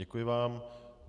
Děkuji vám.